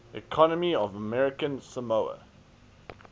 economy of american samoa